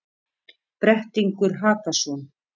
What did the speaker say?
Brettingur Hakason,